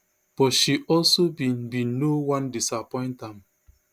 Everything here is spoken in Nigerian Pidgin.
but she also bin bin no wan disappoint am